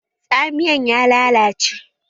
Tsamiyan ya lalace.